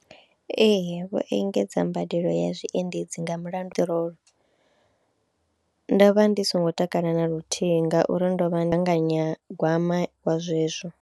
Ee vho engedza mbadelo ya zwiendedzi nga mulandu wa peṱirolo, ndo vha ndi songo takala na luthihi ngauri ndo vha ndi gaganyagwama wa zwezwo.